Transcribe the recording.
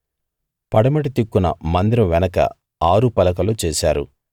పడమటి దిక్కున మందిరం వెనక ఆరు పలకలు చేశారు